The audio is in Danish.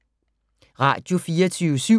Radio24syv